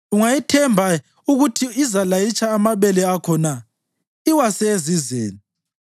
Ungayithemba ukuthi izalayitsha amabele akho na iwase esizeni?